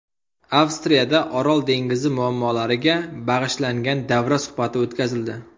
Avstriyada Orol dengizi muammolariga bag‘ishlangan davra suhbati o‘tkazildi.